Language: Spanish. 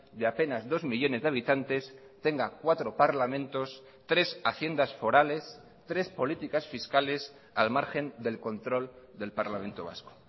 de apenas dos millónes de habitantes tenga cuatro parlamentos tres haciendas forales tres políticas fiscales al margen del control del parlamento vasco